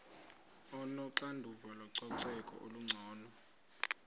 onoxanduva lococeko olungcono